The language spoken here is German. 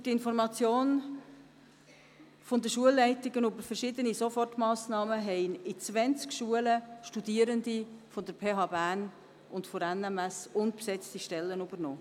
Durch die Information der Schulleitungen über verschiedene Sofortmassnahmen haben in zwanzig Schulen Studierende der PH Bern und der NMS unbesetzte Stellen übernommen.